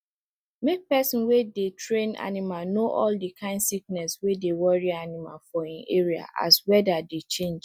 make person wey dey train animal know all the kind sickness wey dey worry animal for e area as weather dey change